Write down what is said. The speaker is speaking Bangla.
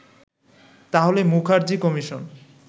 তাহলে মুখার্জী কমিশন